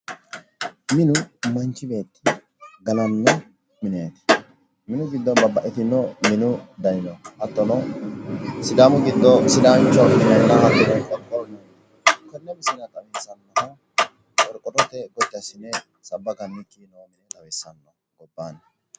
Tini Misile minunna gallanni mini nootta xawissanote, budu mine ikkikki qaafichunni mine biiffinse gundikkinni qixxawote iima noo gallani mine ikkasi xawissano